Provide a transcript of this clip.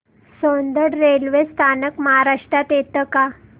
Soundad railway स्थानक महाराष्ट्रात येतं का